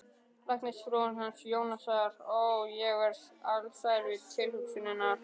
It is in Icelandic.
Læknisfrúin hans Jónasar, ó, ég verð alsæl við tilhugsunina